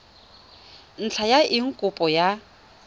ntlha ya eng kopo ya